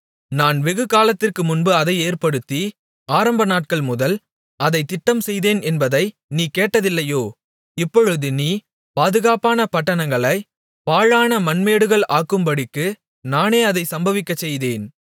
நான் வெகுகாலத்திற்குமுன்பு அதை ஏற்படுத்தி ஆரம்பநாட்கள் முதல் அதைத் திட்டம்செய்தேன் என்பதை நீ கேட்டதில்லையோ இப்பொழுது நீ பாதுகாப்பான பட்டணங்களைப் பாழான மண்மேடுகள் ஆக்கும்படிக்கு நானே அதைச் சம்பவிக்கச்செய்தேன்